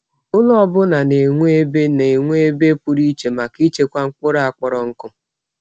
Ụlọ ọ bụla na-enwe ebe na-enwe ebe pụrụ iche maka ịchekwa mkpụrụ a kpọrọ nkụ.